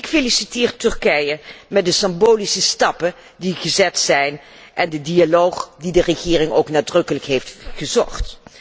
Ik feliciteer Turkije met de symbolische stappen die zijn gezet en de dialoog die de regering ook nadrukkelijk heeft gezocht.